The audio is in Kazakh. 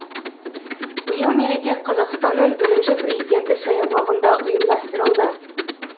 биыл мереке қазақстанның бірінші президенті саябағында ұйымдастырылды